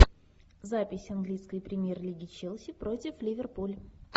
запись английской премьер лиги челси против ливерпуль